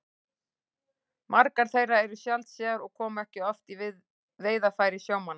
Margar þeirra eru sjaldséðar og koma ekki oft í veiðarfæri sjómanna.